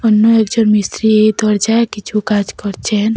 অন্য একজন মিস্ত্রি এই দরজায় কিছু কাজ করছেন।